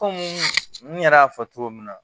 Kɔmi n yɛrɛ y'a fɔ cogo min na